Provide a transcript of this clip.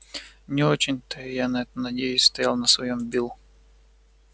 не очень то я на это надеюсь стоял на своём билл